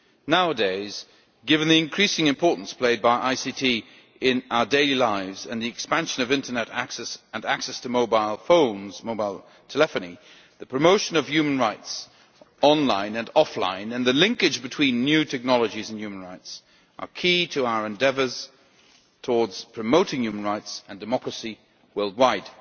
Nowadays, given the increasing importance of ICT in our daily lives and the expansion of Internet access and access to mobile telephony, the promotion of human rights online and offline and the linkage between new technologies and human rights are key to our endeavours towards promoting human rights and democracy worldwide.